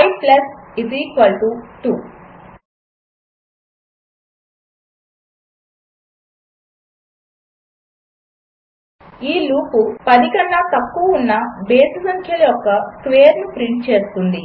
i 2 ఈ loop 10 కన్నా తక్కువ ఉన్న బేసి సంఖ్యల యొక్క స్క్వేర్స్ను ప్రింట్ చేస్తుంది